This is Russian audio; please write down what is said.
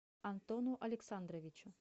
антону александровичу